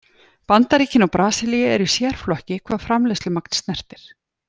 Bandaríkin og Brasilía eru í sérflokki hvað framleiðslumagn snertir.